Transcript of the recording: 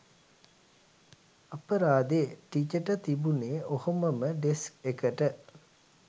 අපරාදේ ටිචට තිබුනේ ඔහොමම ඩෙස්ක් එකට